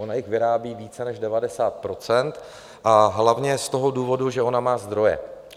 Ona jich vyrábí více než 90 % a hlavně z toho důvodu, že ona má zdroje.